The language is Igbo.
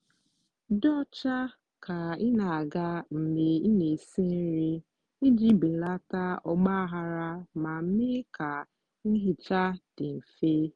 dị ọcha ka ị na-aga mgbe ị na-esi nri iji belata ọgbaghara ma mee ka nhicha dị mfe.